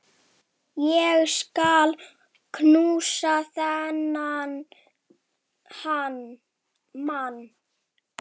Ég skal knúsa þennan mann!